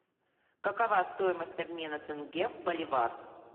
какова стоимость обмена тенге в боливар